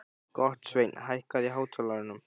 Gottsveinn, hækkaðu í hátalaranum.